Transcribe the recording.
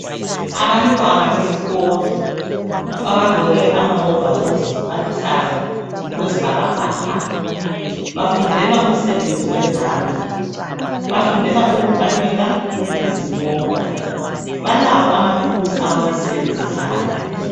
Abantwana besikolo abagqoke amahovolosi aluhlaza okwesibhakabhaka bafundela umsebenzi wezandla. Bafundela ukukanika izimota balawo amathuluzi abawasebenzisayo.